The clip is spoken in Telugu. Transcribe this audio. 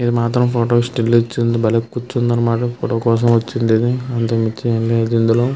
ఇక్కడ మాత్రం ఫోటో కి స్టిల్ ఇచ్చింది ఇది బలే కూర్చుంది అన్నమాట ఫోటో కోసం వచ్చింది ఇది అంతకు మించి ఏం లేదు ఇందులో .